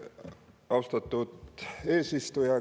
Austatud eesistuja!